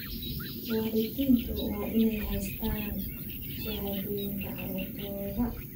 Waalidiintu waa inay haystaan ??shahaadooyinka carruurtooda.